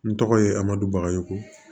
N tɔgɔ ye amadu bagayoko